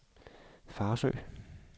Farsø